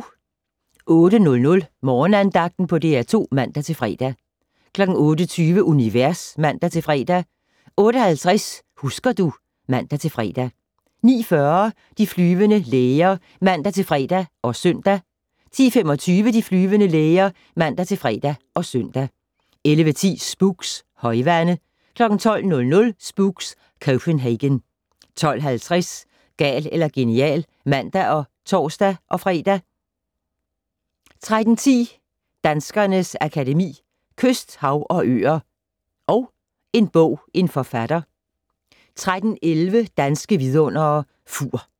08:00: Morgenandagten på DR2 (man-fre) 08:20: Univers (man-fre) 08:50: Husker du ... (man-fre) 09:40: De flyvende læger (man-fre og søn) 10:25: De flyvende læger (man-fre og søn) 11:10: Spooks: Højvande 12:00: Spooks: Copenhagen 12:50: Gal eller genial (man og tor-fre) 13:10: Danskernes Akademi: Kyst, hav, og øer & En bog - en forfatter 13:11: Danske Vidundere: Fur